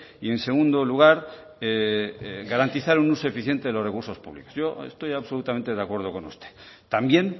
y en segundo lugar garantizar un uso eficiente de los recursos públicos yo estoy absolutamente de acuerdo con usted también